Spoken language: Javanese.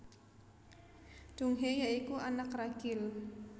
Donghae ya iku anak ragil